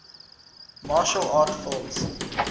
martial arts films